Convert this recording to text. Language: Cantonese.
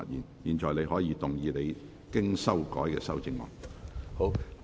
你現在可以動議你經修改的修正案。